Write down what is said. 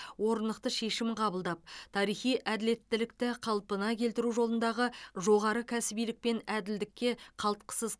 орнықты шешім қабылдап тарихи әділеттілікті қалпына келтіру жолындағы жоғары кәсібилік пен әділдікке қалтқысыз